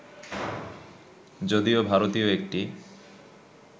যদিও ভারতীয় একটি